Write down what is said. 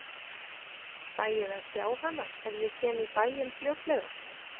Fæ ég að sjá hana ef ég kem í bæinn fljótlega?